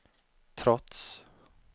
trots